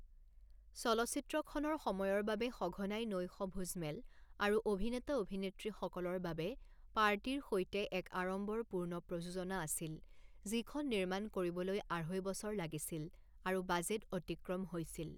চলচ্চিত্ৰখনৰ সময়ৰ বাবে সঘনাই নৈশ ভোজমেল আৰু অভিনেতা-অভিনেত্ৰীসকলৰ বাবে পাৰ্টিৰ সৈতে এক আড়ম্বৰপূৰ্ণ প্ৰযোজনা আছিল যিখন নিৰ্মাণ কৰিবলৈ আঢ়ৈ বছৰ লাগিছিল আৰু বাজেট অতিক্ৰম হৈছিল।